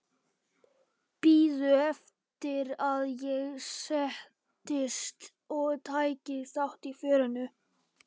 Biðu eftir að ég settist og tæki þátt í fjörinu.